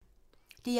DR1